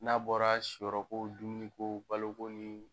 N'a bɔra siyrɔko, dumuni ko , baloko ni